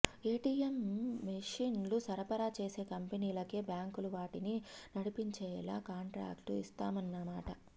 ATM మెషీన్లు సరఫరా చేసే కంపెనీలకే బ్యాంకులు వాటిని నడిపించేలా కాంట్రాక్టు ఇస్తాయన్నమాట